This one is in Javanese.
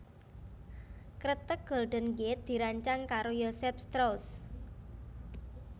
Kreteg Golden Gate dirancang karo Joseph Strauss